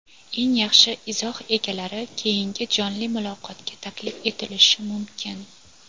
eng yaxshi izoh egalari keyingi jonli muloqotga taklif etilishi mumkin.